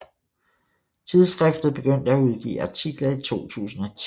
Tidsskriftet begyndte at udgive artikler i 2010